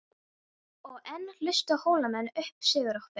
Þær höfðu hreinlega horfið úr vörslu Lárusar.